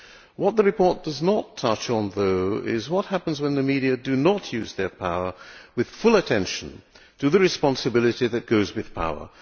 What the report does not touch on, though, is what happens when the media do not use their power with full attention to the responsibility that goes with power